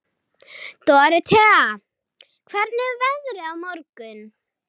Dórótea, hvernig er veðrið á morgun?